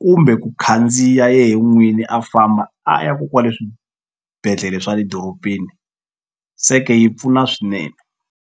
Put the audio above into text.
kumbe ku khandziya yehe n'wini a famba a ya ko kwale swibedhlele swa le dorobeni se ke yi pfuna swinene.